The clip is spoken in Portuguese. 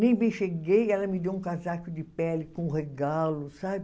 Nem bem cheguei, ela me deu um casaco de pele com um regalo, sabe?